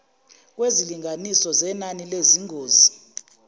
kwezilinganiso zenani lezingozi